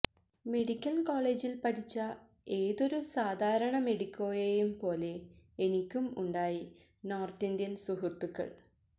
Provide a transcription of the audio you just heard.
medical കോളേജില് പഠിച്ച ഏതൊരു സാധാരണ മെഡിക്കോയേയും പോലെ എനിക്കും ഉണ്ടായി നോര്ത്തിന്ത്യന് സുഹൃത്തുക്കള്